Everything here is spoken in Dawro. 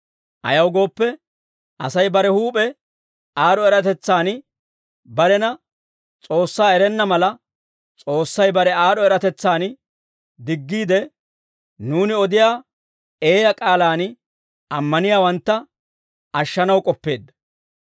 Ayaw gooppe, Asay bare huup'e aad'd'o eratetsaan barena S'oossaa erenna mala, S'oossay bare aad'd'o eratetsaan diggiide, nuuni odiyaa eeyaa k'aalaan ammaniyaawantta ashshanaw k'oppeedda.